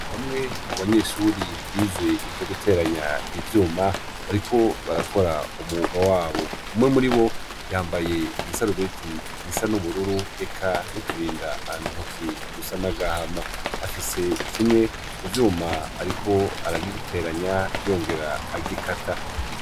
Bamwe mu banyeshure bize ivyo guteranya ivyuma, bariko barakora umwuga wabo. Umwe muri bo yambaye igisarubeti gisa n'ubururu eka n'uturinda ntoke dusa n'agahama. Afise kimwe mu vyuma, ariko aragiteranya yongera agikata.